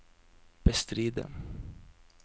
bestride